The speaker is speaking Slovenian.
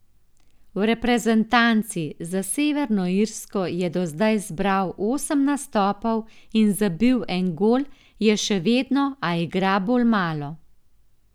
V reprezentanci, za Severno Irsko je do zdaj zbral osem nastopov in zabil en gol, je še vedno, a igra bolj malo.